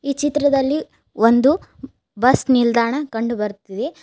ಈ ಚಿತ್ರದಲ್ಲಿ ಒಂದು ಬಸ್ ನಿಲ್ದಾಣ ಕಂಡು ಬರ್ತಿದೆ.